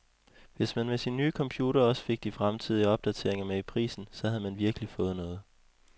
Hvis man med sin nye computer også fik de fremtidige opdateringer med i prisen, så havde man virkelig fået noget.